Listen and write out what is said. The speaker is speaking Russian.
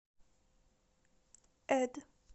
эд